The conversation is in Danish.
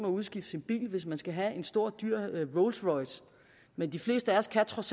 at udskifte sin bil hvis man skal have en stor dyr rolls royce men de fleste af os kan trods